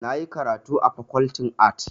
Na yi karatu a Fakoltin Arts.